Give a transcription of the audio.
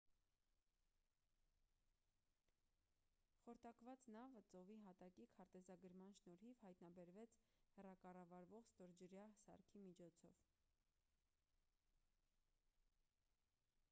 խորտակված նավը ծովի հատակի քարտեզագրման շնորհիվ հայտնաբերվեց հեռակառավարվող ստորջրյա սարքի միջոցով